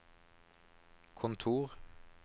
kontor